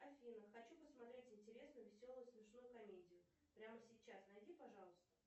афина хочу посмотреть интересную веселую смешную комедию прямо сейчас найди пожалуйста